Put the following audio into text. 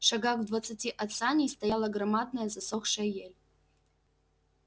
шагах в двадцати от саней стояла громадная засохшая ель